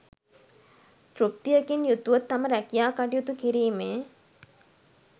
තෘප්තියකින් යුතුව තම රැකියා කටයුතු කිරීමේ